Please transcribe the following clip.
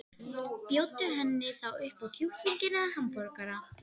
Bjóddu henni þá upp á kjúkling eða hamborgara.